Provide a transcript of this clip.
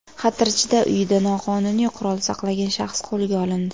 Xatirchida uyida noqonuniy qurol saqlagan shaxs qo‘lga olindi.